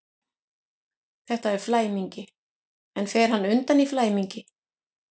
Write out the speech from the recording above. Þetta er flæmingi, en fer hann undan í flæmingi?